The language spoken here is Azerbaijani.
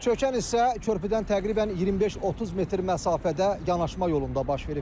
Çökən hissə körpüdən təqribən 25-30 metr məsafədə yanaşma yolunda baş verib.